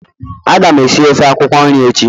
Agam esi ofe akwukwo nri echi